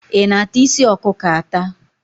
Ị na-ata isi ọkụkọ ata?